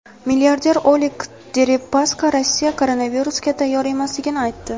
Milliarder Oleg Deripaska Rossiya koronavirusga tayyor emasligini aytdi.